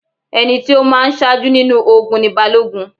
Ẹni tí ó má a ń sájú nínú ogun ni Balógun